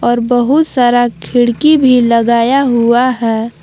और बहुत सारा खिड़की भी लगाया हुआ है।